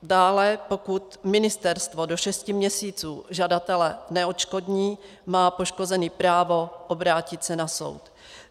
Dále pokud ministerstvo do šesti měsíců žadatele neodškodní, má poškozený právo obrátit se na soud.